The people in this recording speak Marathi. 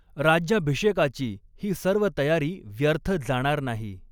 राज्याभिषेकाची ही सर्व तयारी व्यर्थ जाणार नाहीं.